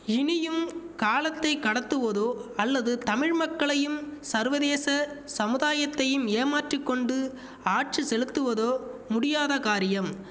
இனியும் காலத்தை கடத்துவெதோ அல்லது தமிழ் மக்களையும் சர்வதேச சமுதாயத்தையும் ஏமாற்றிக் கொண்டு ஆட்சி செலுத்துவதோ முடியாத காரியம்